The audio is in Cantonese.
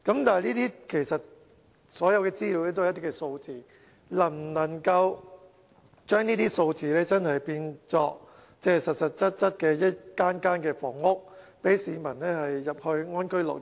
但是，所有資料其實都是一些數字，能否將這些數字變成實質一間間房屋，讓市民入住，安居樂業？